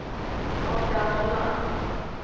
Oddgeir Vollan